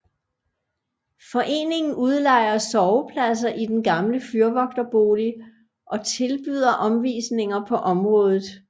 Foreningen udlejer sovepladser i den gamle fyrvogterbolig og tilbyder omvisninger på området